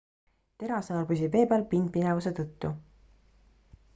terasnõel püsib vee peal pindpinevuse tõttu